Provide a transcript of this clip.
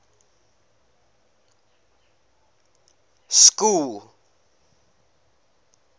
school